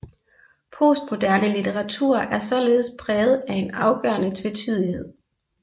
Postmoderne litteratur er således præget af en afgørende tvetydighed